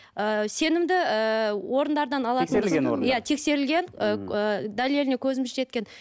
ы сенімді ыыы орындардан иә тексерілген ы дәлеліне көзіміз жеткен